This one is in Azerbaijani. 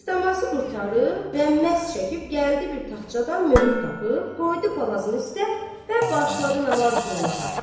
Dəstəmazı qurtarıb və məs çəkib gəldi bir taxçadan möhür tapıb qoydu palazının üstə və başladı namaz qılmağa.